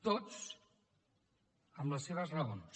tots amb les seves raons